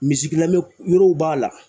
lamɛn yɔrɔw b'a la.